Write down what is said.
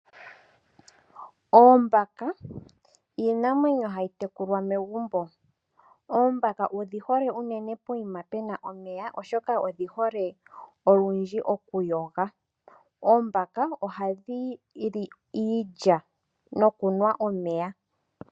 Oombaka iinamwenyo hayi tekulwa megumbo. Oombaka odhi hole uunene mpoka pena omeya oshoka odhi hole olundji okuyoga. Oombaka ohadhi li iilya nokunwa omeya.